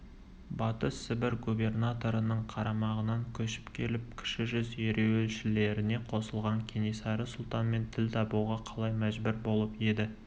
батыс сібір губернаторының қарамағынан көшіп келіп кіші жүз ереуілшілеріне қосылған кенесары сұлтанмен тіл табуға қалай мәжбүр болып еді